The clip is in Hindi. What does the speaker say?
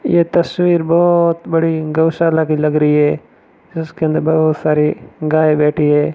ये तस्वीर बहोत बड़ी गौशाला की लग रही है जिसके अंदर बहोत सारे गया बैठी है।